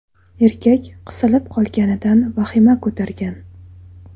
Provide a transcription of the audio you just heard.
Erkak qisilib qolganidan vahima ko‘targan.